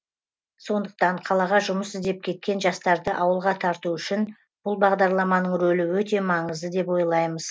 сондықтан қалаға жұмыс іздеп кеткен жастарды ауылға тарту үшін бұл бағдарламаның рөлі өте маңызды деп ойлаймыз